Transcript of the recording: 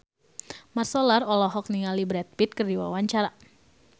Mat Solar olohok ningali Brad Pitt keur diwawancara